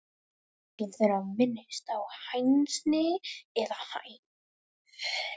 Engin þeirra minnist á hænsni eða hænur.